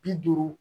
Bi duuru